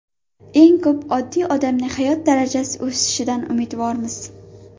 Eng ko‘p oddiy odamning hayot darajasi o‘sishidan umidvormiz.